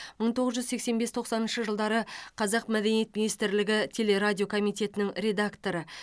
мың тоғыз жүз сексен бес тоқсаныншы жылдары қазақ мәдениет министрлігі телерадио комитетінің редакторы